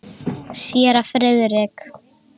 Séra Friðrik